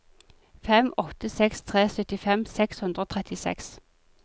fem åtte seks tre syttifem seks hundre og trettiseks